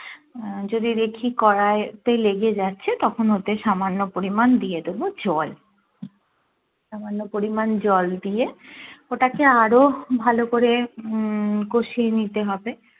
আহ যদি দেখি কড়াই তে লেগে যাচ্ছে তখন ওতে সামান্য পরিমান দিয়ে দেবো জল সামান্য পরিমাণ জল দিয়ে ওটাকে আরো ভালো করে উম কষিয়ে নিতে হবে